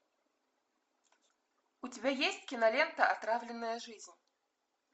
у тебя есть кинолента отравленная жизнь